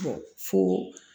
fo